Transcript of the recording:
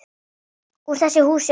Úr þessu húsi óttans.